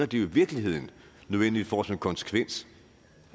det i virkeligheden nødvendigvis får som konsekvens